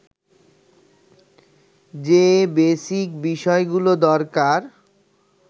যে বেসিক বিষয়গুলো দরকার